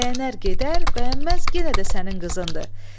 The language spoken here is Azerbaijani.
Bəyənər gedər, bəyənməz yenə də sənin qızındır.